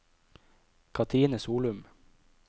Katrine Solum